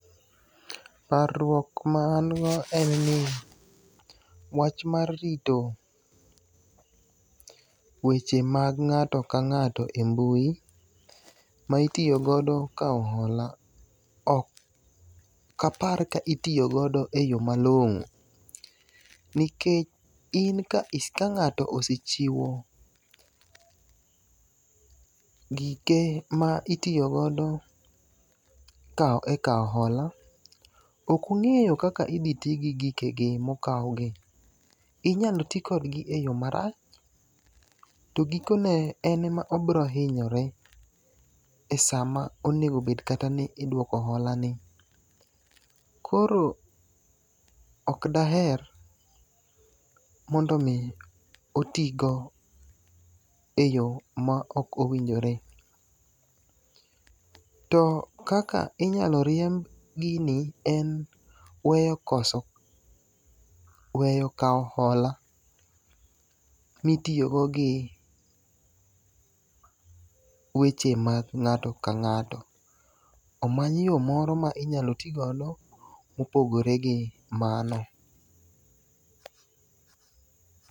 Paruok ma an go en ni wach mar rito weche mag ng'ato ka ng'ato e mbui ma itiyogodo kahola ok apar ka itiyogodo e yo malong'o. Nikech in ka ng'ato osechiwo gike ma itiyogodo e kaw hola ok ong'eyo kaka idhi ti gi gike gi mokaw gi. Inyalo ti kodgi e yo marach. To giko ne en ma obirohinyore esa ma oneng'o bed kata ni iduoko hola ni. Koro ok daher mondo mi otigo eyo ma ok owinjore. To kaka inyalo riemb gini en weyo koso weyo kaw hola mitiyogo gi weche maG ng'ato ka ng'ato. Omany yo moro minyalo tigodo mopogore gi mano.